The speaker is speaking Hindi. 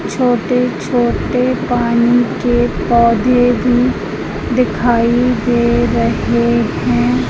छोटे छोटे पानी के पौधे भी दिखाई दे रहे हैं।